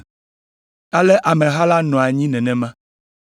ale ameha la nɔ anyi nenema.